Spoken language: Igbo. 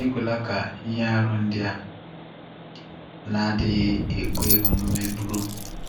Ekwela ka ihe aru ndị a na-adịghị ekwe omume bụrụ